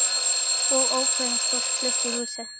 Og ókunnugt fólk flutt í húsið.